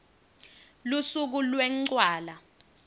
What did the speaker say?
lusuku lwencwala